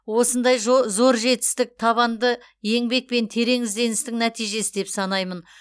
осындай жо зор жетістік табанды еңбек пен терең ізденістің нәтижесі деп санаймын